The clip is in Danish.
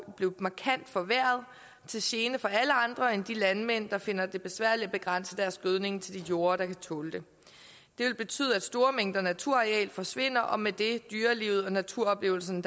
blive markant forværret til gene for alle andre end de landmænd der finder det besværligt at begrænse deres gødning til de jorde der kan tåle det det vil betyde at en stor mængde naturareal forsvinder og med det dyrelivet og de naturoplevelser som